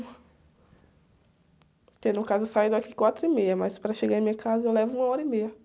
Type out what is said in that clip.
Porque, no caso, eu saio daqui quatro e meia, mas para chegar em minha casa eu levo uma hora e meia.